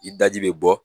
I daji bɛ bɔ